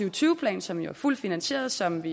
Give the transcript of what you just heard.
og tyve plan som jo er fuldt finansieret og som